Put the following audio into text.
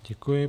Děkuji.